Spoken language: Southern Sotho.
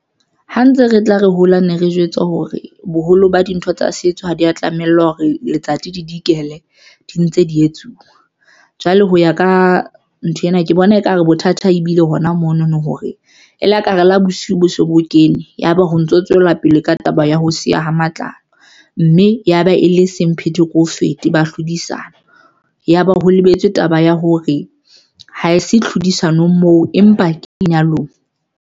Ha ntse re tla re hola ne re jwetswa hore boholo ba dintho tsa setso ha di ya tlamellwa hore letsatsi le dikele di ntse di etsuwa, jwale ho ya ka nthwena ke bona ekare bothata ebile hona mono no, hore e la ka re lo bosiu bo se bo kene. Yaba ho ntso tswela pele ka taba ya ho siya ho matlalo mme yaba e le semphete ke o fete ba tlhodisano ya ba ho lebetswe taba ya hore ha se tlhodisanong moo empa ke lenyalong.